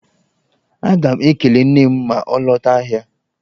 Aga m ekele nne m ma ọ lọta ahịa.